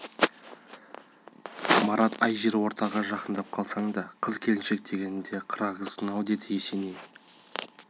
марат-ай жер ортаға жақындап қалсаң да қыз-келіншек дегенде қырағысың-ау деді есеней